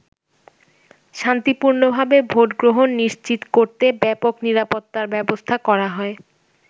শান্তিপূর্ণভাবে ভোট গ্রহণ নিশ্চিত করতে ব্যাপক নিরাপত্তার ব্যবস্থা করা হয়।